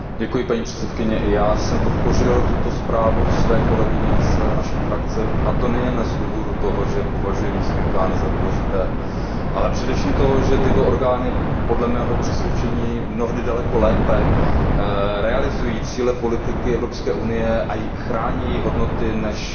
Paní předsedající, já jsem podpořil tuto zprávu své kolegyně z frakce a to nejen z důvodu toho, že považuji místní orgány za důležité, ale především proto, že tyto orgány podle mého přesvědčení mnohdy daleko lépe realizují cíle politiky Evropské unie a chrání její hodnoty, než